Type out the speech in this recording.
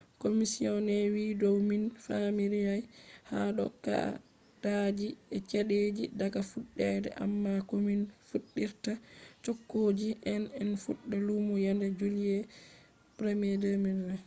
commisioner wiiyo dow min famidirai ha dow kaa’idaaji e chedeji daga fuddede amma komin fuddirta chogguji hean en fudda lumo yaande july 1 2020